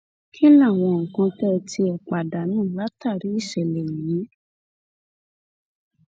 kí làwọn nǹkan tẹ́ ẹ tiẹ̀ pàdánù látàrí ìṣẹ̀lẹ̀ yìí